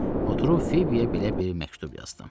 Oturub Fibiyə belə bir məktub yazdım.